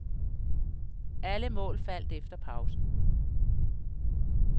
Alle mål faldt efter pausen.